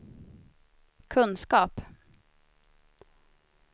kunskap